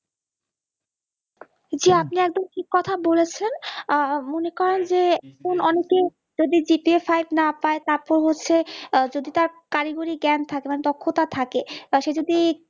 জি আপনি একদম ঠিক কথা বলেছেন, মনে করেন যে অনেকে যদি GPAfive না পাই তাতেই হচ্ছে যদি তার কারিগরি জ্ঞান থাকে মানে দক্ষতা থাকে, আর সে যদি